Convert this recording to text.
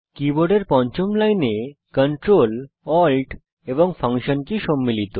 কীবোর্ডের পঞ্চম লাইনে Ctrl Alt এবং ফাংশন কী সম্মিলিত